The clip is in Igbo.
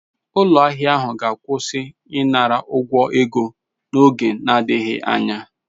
Ụlọ ahịa ahụ ga-akwụsị ịnara ụgwọ ego n'oge adịghị anya.